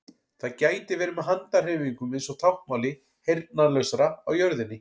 Það gæti verið með handahreyfingum eins og táknmáli heyrnarlausra á jörðinni.